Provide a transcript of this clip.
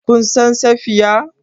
Kun san Safiya?